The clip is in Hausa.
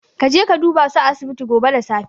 Kaje ka dubasu a asibiti gobe da safe.